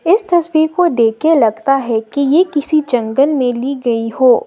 इस तस्वीर को देख के लगता है कि ये किसी जंगल में ली गई हो।